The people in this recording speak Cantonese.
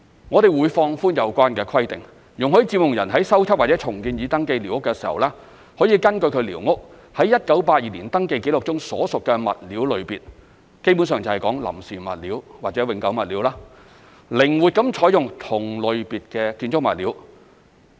我們會放寬有關的規定，容許佔用人在修葺或重建已登記寮屋時，可根據其寮屋於1982年登記紀錄中所屬的物料類別，基本上就是"臨時物料"或"永久物料"，靈活地採用同類別的建築物料。